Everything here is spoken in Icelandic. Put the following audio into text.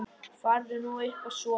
Farðu nú upp að sofa.